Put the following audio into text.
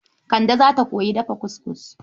Kande za ta koyi dafa kuskus..